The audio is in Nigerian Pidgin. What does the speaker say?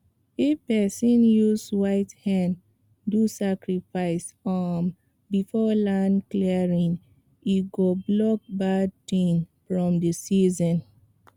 if person use white hen do sacrifice um before land clearing e go block bad thing from the season